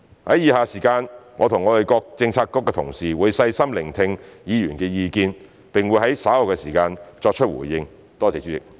在以下的時間，我和各政策局的同事會細心聆聽議員的意見，並會在稍後的時間作出回應。